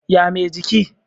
ya Mai jiki?